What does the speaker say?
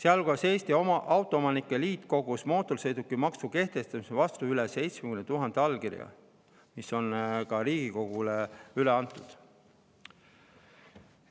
Eesti Autoomanike Liit kogus mootorsõidukimaksu kehtestamise vastu üle 70 000 allkirja, mis on ka Riigikogule üle antud.